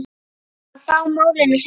Að fá málin á hreint